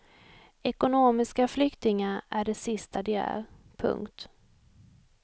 Ekonomiska flyktingar är det sista de är. punkt